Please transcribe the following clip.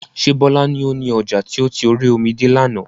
Ṣé Bọlá ni ó ní ọjà tí ó ti orí omi de lànà?